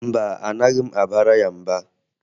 Mba, anaghị m abara ya mba